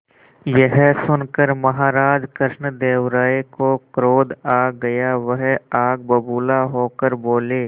यह सुनकर महाराज कृष्णदेव राय को क्रोध आ गया वह आग बबूला होकर बोले